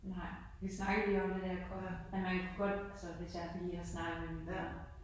Nej. Vi snakkede lige om det da jeg kom men man kunne godt altså hvis jeg lige har snakket med min mor